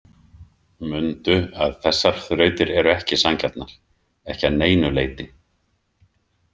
Mundu að þessar þrautir eru ekki sanngjarnar, ekki að neinu leyti.